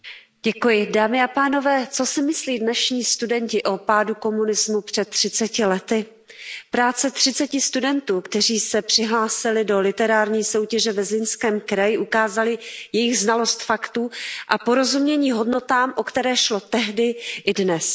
Paní předsedající, dámy a pánové, co si myslí dnešní studenti o pádu komunismu před 30 lety? Práce 30 studentů, kteří se přihlásili do literární soutěže ve Zlínském kraji, ukázaly jejich znalost faktů a porozumění hodnotám, o které šlo tehdy i dnes.